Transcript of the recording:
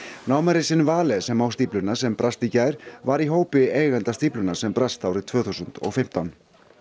Vale sem á stífluna sem brast í gær var í hópi eigenda stíflunnar sem brast árið tvö þúsund og fimmtán